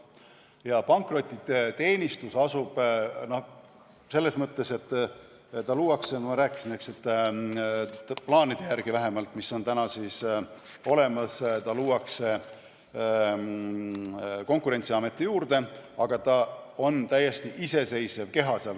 Ja pankrotiteenistus luuakse – nagu ma rääkisin, eks, vähemalt praeguste plaanide järgi – Konkurentsiameti juurde, aga ta on seal täiesti iseseisev keha.